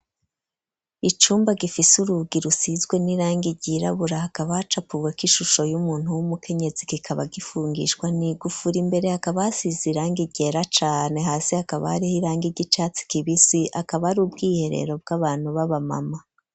Icumba gifise urugi rusizwe n'irangi girabura hakaba acapuwe k'ishusho y'umuntu w'umukenyezi gikaba gifungishwa ni gufura imbere akaba asize irange igera cane hasi akaba ariho irangi igicatsi kibisi akaba ari ubwiherero bw'abantu b'abamama.